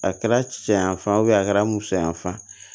A kɛra cɛyanfan a kɛra musoyanfan